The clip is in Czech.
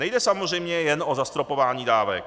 Nejde samozřejmě jen o zastropování dávek.